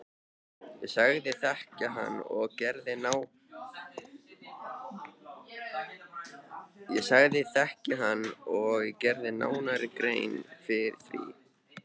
Ég sagðist þekkja hann og gerði nánari grein fyrir því.